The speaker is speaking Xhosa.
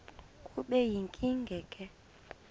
kube yinkinge ke